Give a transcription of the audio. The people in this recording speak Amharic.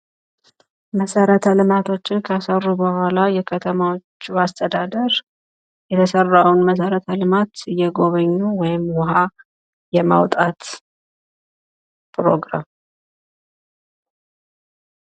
መሰረተ ልማቶችን ከሰሩ በኋላ የከተማዎቹ አስተዳደር የተሰራዉን መሰረተ ልማት እየጎበኙ ወይም ዉኃ የማዉጣት ፕሮግራም።